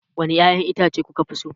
Wane ƴaƴan itace kuka fi so?